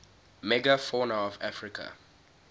megafauna of africa